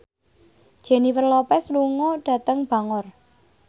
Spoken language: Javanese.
Jennifer Lopez lunga dhateng Bangor